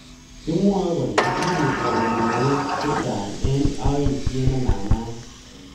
Kimwoe kole kisirto kobun mook chechang eng aityet nemanaak